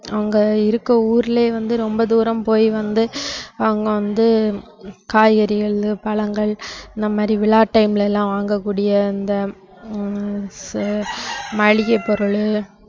அவங்க இருக்கிற ஊர்லயே வந்து ரொம்ப தூரம் போய் வந்து அவங்க வந்து காய்கறிகள், பழங்கள் இந்த மாதிரி விழா time ல எல்லாம் வாங்கக்கூடிய இந்த ஹம் செ~ மளிகை பொருள்